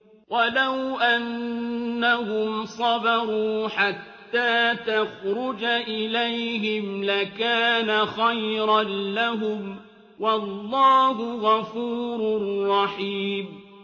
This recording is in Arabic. وَلَوْ أَنَّهُمْ صَبَرُوا حَتَّىٰ تَخْرُجَ إِلَيْهِمْ لَكَانَ خَيْرًا لَّهُمْ ۚ وَاللَّهُ غَفُورٌ رَّحِيمٌ